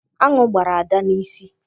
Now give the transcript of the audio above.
Aṅụ gbara Ada n'isi.